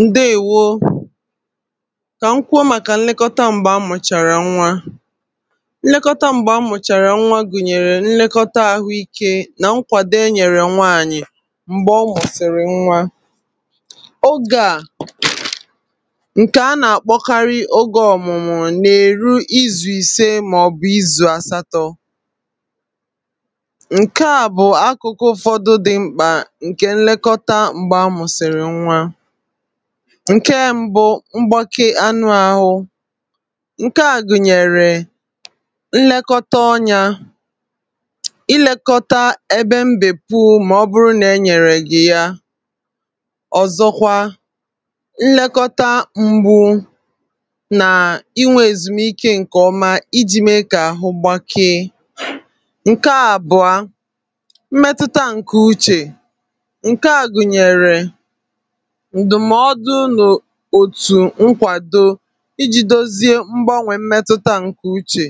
Ndewo, kà m kwuo màkà nlekota m̀gbè a mụ̀chàrà nwa. Nlekota m̀gbè a mụ̀chàrà nwa gụ̀nyèrè nlekọta àhụ ike nà nkwàdo e nyèrè nwaànyị̀ m̀gbè ọ mụ̀sị̀rị̀ nwa. Ogè a, ǹkè a nà-àkpọkarị ogė ọ̀mụ̀mụ̀ n’èru izù ìse mà ọ̀bụ̀ izù àsatọ. Nke a bụ akụkụ ufodu di mkpa nke nlekọta mgbe a mụ̀sị̀rị̀ nwa. Nke mbụ, mgbake anụ ahụ, ǹke a gụ̀nyèrè nlekọta ọnya, ịlekọta ebe mbèpu mà ọ bụrụ nà e nyèrè gị ya, ọ̀zọkwa nlekọta mgbu nà inwė èzùmike ǹkè ọma iji mė kà àhụ gbakee. Nke abụ̀a; mmetụta ǹkè uchè, nke a gụ̀nyèrè ndụmọdụ n'otu ǹkwàdo iji dozie mgbanwè mmetụta ǹkè uchè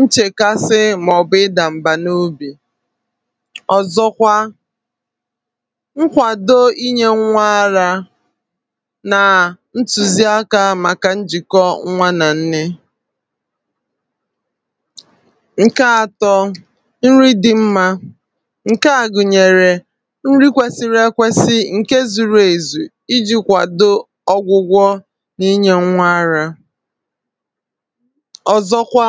nchèkasị, màọ̀bụ̀ ịdà m̀bà n’ obì. Ọ zọkwa nkwàdo inyė nwa ara nà ntùziakȧ màkà njìkọ nwa nà nne. Nke àtọ, Nri dị mma; nke a gunyere nri kwesịrị ekwesị, nke zuru ezu iji kwadoo gwụgwọ, n’inyè nwa ara. Ọ̀zọkwa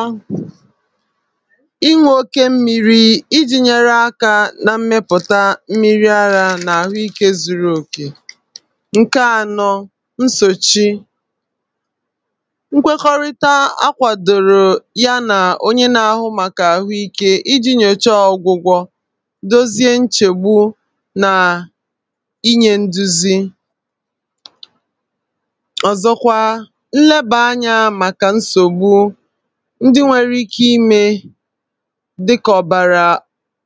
ịṅụ oke mmiri iji nyere aka na mmepụ̀ta mmiri ara, n’àhụikė zuru òkè. Nkè ànọ, nsòchi; nkwekọrịta a kwàdòrò ya nà onye na-àhụ màkà àhụikė iji nyòchọọ ọ̀gwụgwọ, dozie nchègbu, nà inye nduzi. Ọ zọkwa nlebà anya màkà nsògbu, ndị nwere ike imė dịkà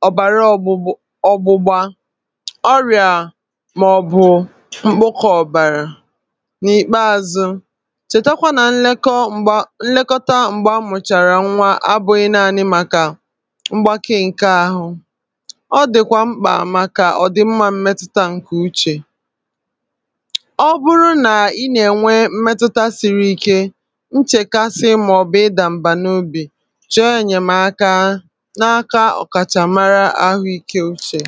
ọ̀bàrà ọ̀ gbụgba ọrịà, màọ̀bụ̀ mkpụkọ̀ ọ̀bàrà n’ìkpeazụ. Chètakwa nà nlekọta m̀gbè a mụ̀chàrà nwa abụghị naanị màkà mgbàkee ǹke àhụ, ọ dị̀kwà mkpà màkà ọ̀dị̀mmȧ mmetụta ǹkè uchè. ọ bụrụ nà ị nà-ènwe mmetụta siri ike, nchèkasị màọ̀bụ̀ ịdàm̀bà n’ubì, chọọ ènyèmaka n’aka ọ̀kàchàmara ahụ̀ ike uchè.